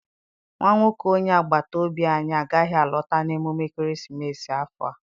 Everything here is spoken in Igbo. Nwa nwoke onye agbata obi anyị agaghị alọta n'emume ekeresimesi afọ a.